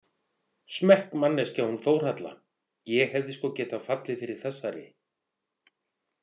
Smekkmanneskja hún Þórhalla, ég hefði sko getað fallið fyrir þessari.